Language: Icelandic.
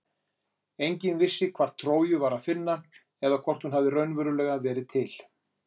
Enginn vissi hvar Tróju var að finna eða hvort hún hafði raunverulega verið til.